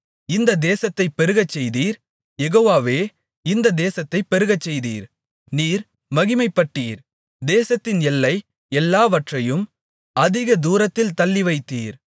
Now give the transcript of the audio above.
இந்த தேசத்தைப் பெருகச்செய்தீர் யெகோவாவே இந்த தேசத்தைப் பெருகச்செய்தீர் நீர் மகிமைப்பட்டீர் தேசத்தின் எல்லை எல்லாவற்றையும் அதிக தூரத்தில் தள்ளிவைத்தீர்